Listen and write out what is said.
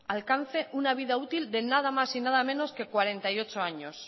alcance una vida útil de nada más y nada menos de cuarenta y ocho años